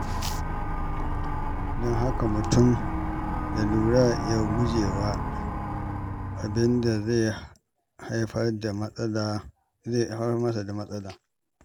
Don haka, mutum ya lura ya gujewa abin da zai haifar masa da matsala.